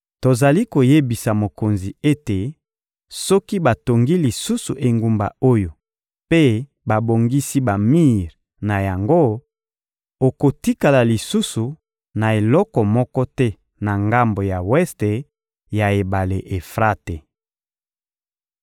Tozali koyebisa mokonzi ete soki batongi lisusu engumba oyo mpe babongisi bamir na yango, okotikala lisusu na eloko moko te na ngambo ya weste ya ebale Efrate.»